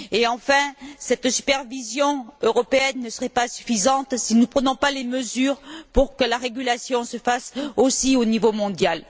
Enfin, cette supervision européenne sera insuffisante si nous ne prenons pas les mesures pour que la régulation se fasse, aussi, au niveau mondial.